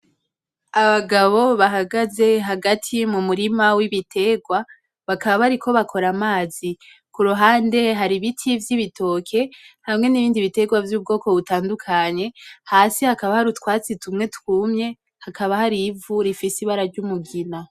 Abagabo bahagaze hagati mu murima w’ibitegwa bakaba bariko bakora amazi. Kuruhande hari ibiti vy’ibitoke hamwe n’ibindi bitegwa vy’ubwoko butandukanye hasi hakaba hari utwatsi tumwe twumye hakaba hari ivu rifise ibara ry’umugina.